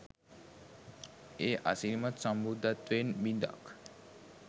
ඒ අසිරිමත් සම්බුද්ධත්වයෙන් බිඳක්